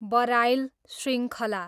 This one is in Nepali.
बराइल शृङ्खला